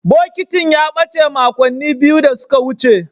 Bokitin ya bace makonni biyu da suka wuce.